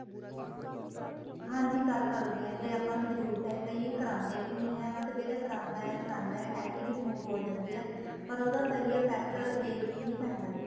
ਹਾਂਜੀ ਕਰ ਸਕਦੇ ਹਾਂ ਜੇ ਆਪਾਂ ਨੂੰ ਜਰੂਰਤ ਏ ਪਈ ਕਰਾਦੇ ਵੀ ਨਹੀਂ ਹੈ but ਜਿਹੜਾ ਕਰਾਦਾ ਏ ਕਰਾਦਾ ਏ tanning remove ਹੋ ਜਾਂਦੀ ਏ ਪਰ ਉਹਦਾ ਦਾ ਸਹੀਂ effect day ਚ ਹੀ ਪੈਂਦਾ ਏ